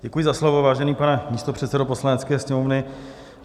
Děkuji za slovo, vážený pane místopředsedo Poslanecké sněmovny.